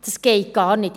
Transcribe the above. Das geht gar nicht.